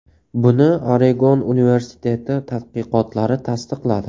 Buni Oregon universiteti tadqiqotlari tasdiqladi.